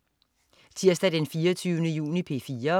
Tirsdag den 24. juni - P4: